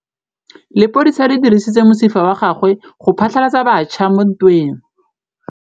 Lepodisa le dirisitse mosifa wa gagwe go phatlalatsa batšha mo ntweng.